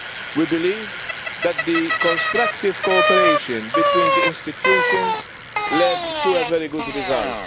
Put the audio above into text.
We believe that the constructive cooperation between the institutions has led to a very good result.